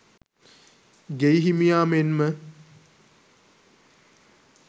ගෙයි හිමියා මෙන්ම